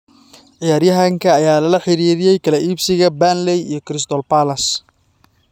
Ciyaaryahanka ayaa lala xiriiriyay kala iibsiga Burnley iyo Crystal Palace.